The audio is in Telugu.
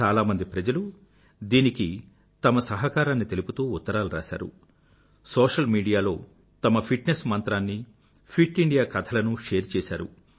చాలామంది ప్రజలు దీనికి తమ సహకారాన్ని తెలుపుతూ ఉత్తరాలు రాసారు సోషల్ మీడియా లో తమ ఫిట్నెస్ మంత్రాన్నీ ఫిట్ ఇండియా కథలను షేర్ చేసారు